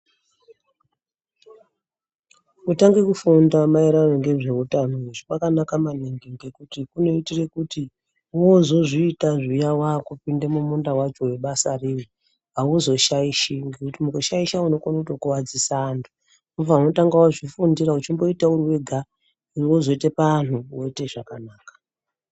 Kutanga kufunda mayererano nezveutano kwakanaka maningi ngekuti kunoitire kuti wozozviita zviya wakupinda mumunda wacho webasa awuzoshaishi ngekuti mukushaisha unokone kutokuvadzisa vantu. Unofana kumbotanga wazvifundira uchimboita uri wega wozoita paantu woire zvakanaka.